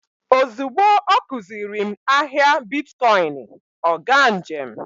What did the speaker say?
Ozugbo ọ kuziri m ahịa bitkọịnị, ọ gaa njem.